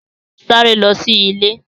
Sáré lọ sí ilé!